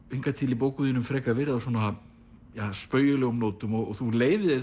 hingað til í bókum þínum frekar verið á spaugilegum nótum og þú leyfir